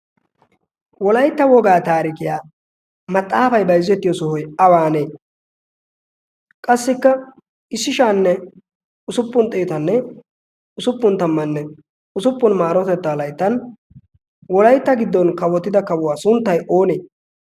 wolaytta wogaa taarikiyaa maxaafay bayzzettiyo sohoy awaanee qassikka isshishaanne usuppun xeetanne usuppun tammanne usuppun maarotettaa layttan wolaitta giddon kawotida kawuwaa sunttay oonee